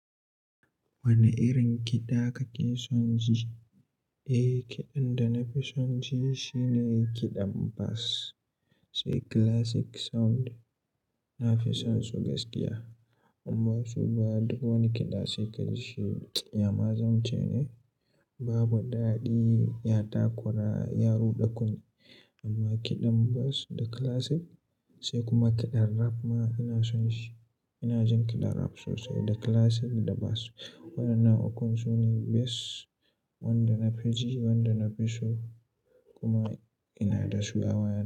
Wane irin kiɗa kake son ji? Eh, kiɗan da na fi son ji shine kiɗan bass, sai classic sound. Na fi son su gaskiya. Imba su ba duk wani kiɗa sai ka ji shi. Ya ma zan ce ne, babu daɗi ya takura yaruɗa kunne. Amma kiɗan bass da classic, sai kuma kiɗan rap ma ina son shi. Ina jin kiɗan rap sosai da classic da bass. Waɗannan ukun su ne best wanda na fi ji, wanda na fi so kuma ina da su a waya.